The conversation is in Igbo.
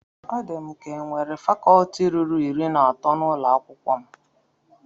Ọ di m ka enwere fakọtị ruru iri na atọ n'ụlọ akwụkwọ m